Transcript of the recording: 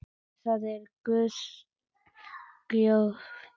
Það er Guðs gjöf.